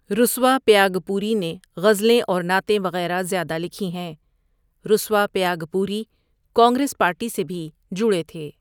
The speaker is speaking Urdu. رسوا پیاگ پوری نے غزلیں اور نعتیں وٖٖغیرہ زیادہ لکھی ہیں رسوا پیاگ پوری کانگریس پارٹی سے بھی جڑے تھے۔